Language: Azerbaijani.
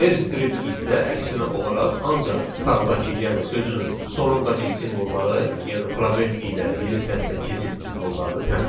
R strip isə əksinə olaraq ancaq sağdakı, yəni sözün sonundakı simvolları, yəni probel ilə yeni sətrə keçid simvollarını təmizləyir.